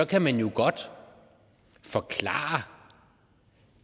kan man jo godt forklare